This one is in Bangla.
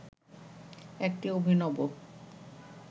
একটি অভিনব